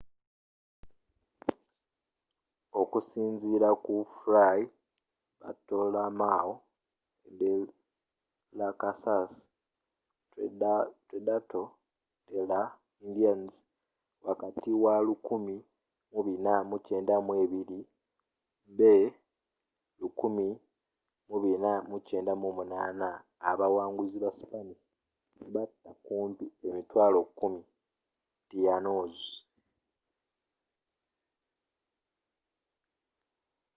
okusinzila ku fray bartolomeo de las casas tratado de las india's wakati wa1492 be 1498 abawanguzi ba spanish batta kumpi 100,000 tainos